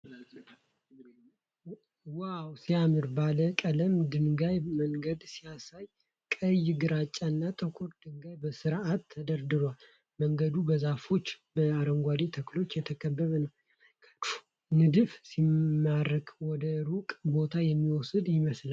ዋው ሲያምር! ባለ ቀለም ድንጋይ መንገድ ሲያሳይ! ቀይ፣ ግራጫ እና ጥቁር ድንጋዮች በሥርዓት ተደርድረዋል። መንገዱ በዛፎችና በአረንጓዴ ተክሎች የተከበበ ነው። የመንገዱ ንድፍ ሲማርክ! ወደ ሩቅ ቦታ የሚወስድ ይመስላል። ያስደንቃል!